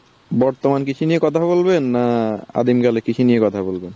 বর্তমান কৃষি নিয়ে কথা বলবেন না আদিম কালে কৃষি নিয়ে কথা বলবেন?